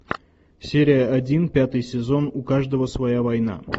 серия один пятый сезон у каждого своя война